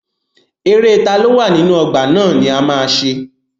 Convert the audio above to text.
Eré taló wà nínú ọgbà ná ni a ma ṣe.